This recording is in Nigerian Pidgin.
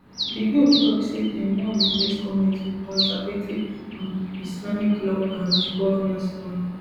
di group tok say dem wan replace goment wit conservative um islamic law and governance um